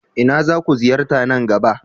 Ina zaku ziyarta nan gaba?